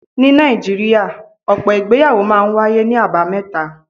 Ní Nàìjíríà, ọ̀pọ̀ ìgbéyàwó máa ń wáyé ní àbámẹ́ta.